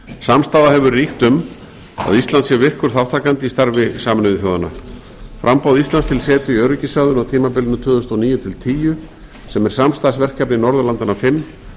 samstaða hefur ríkt um að ísland sé virkur þátttakandi í starfi sameinuðu þjóðanna framboð íslands til setu í öryggisráðinu á tímabilinu tvö þúsund og níu til tvö þúsund og tíu sem er samstarfsverkefni norðurlandanna fimm